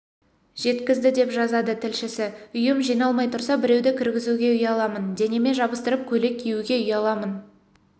жеткізді деп жазады тілшісі үйім жиналмай тұрса біреуді кіргізуге ұяламын денеме жабыстырып көйлек киюге ұяламын